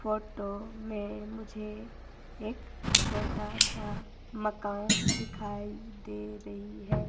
Photo में मुझे एक छोटा सा मकान दिखाई दे रही है।